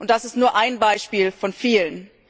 Das ist nur ein Beispiel von vielen.